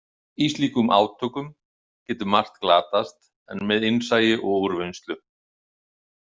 Í slíkum átökum getur margt glatast en með innsæi og úrvinnslu.